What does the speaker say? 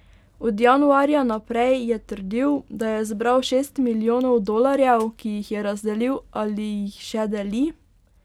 Od januarja naprej je trdil, da je zbral šest milijonov dolarjev, ki jih je razdelil ali jih še deli.